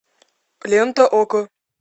лента окко